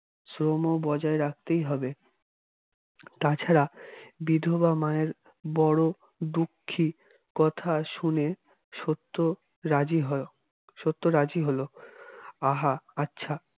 শ্রমও বজায় রাখতেই হবে তা ছাড়া বিধবার মায়ের বড় দুঃখী কথা শুনে সত্য রাজী হয়ে সত্য রাজী হল আহা আচ্ছা